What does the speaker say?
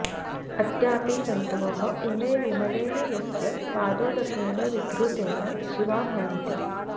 अद्यापि जन्तव इमे विमलेन यस्य पादोदकेन विधृतेन शिवा भवन्ति